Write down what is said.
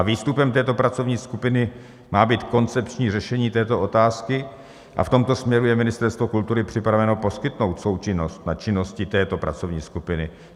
A výstupem této pracovní skupiny má být koncepční řešení této otázky a v tomto směru je Ministerstvo kultury připraveno poskytnout součinnost na činnosti této pracovní skupiny.